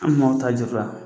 An manw ta